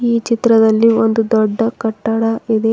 ಈ ಚಿತ್ರದಲ್ಲಿ ಒಂದು ದೊಡ್ಡ ಕಟ್ಟಡ ಇದೆ.